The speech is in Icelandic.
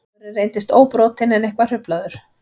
Maðurinn reyndist óbrotinn en eitthvað hruflaður